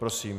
Prosím.